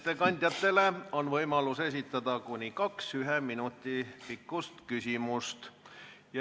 Ettekandjatele on igaühel võimalik esitada kuni kaks ühe minuti pikkust küsimust.